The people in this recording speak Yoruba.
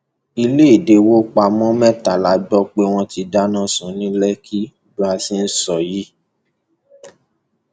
ìlédèwọpamọ mẹta la gbọ pé wọn ti dáná sun ní lẹkì bá a ṣe ń sọ yìí